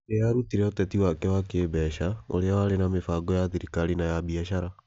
Nĩ aarutire ũteti wake wa kĩĩmbeca, ũrĩa warĩ na mĩbango ya thirikari na ya biacara.